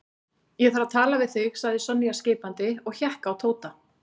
Ég þarf að tala við þig sagði Sonja skipandi og hékk á Tóta.